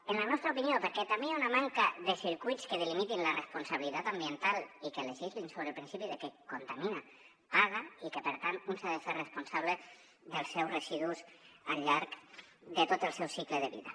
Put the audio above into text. en la nostra opinió perquè també hi ha una manca de circuits que delimitin la responsabilitat ambiental i que legislin sobre el principi que qui contamina paga i que per tant un s’ha de fer responsable dels seus residus al llarg de tot el seu cicle de vida